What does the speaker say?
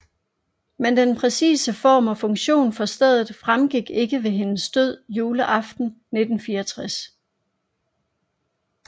Men den præcise form og funktion for stedet fremgik ikke ved hendes død juleaften i 1964